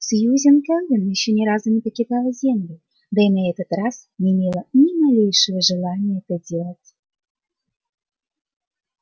сьюзен кэлвин ещё ни разу не покидала землю да и на этот раз не имела ни малейшего желания это делать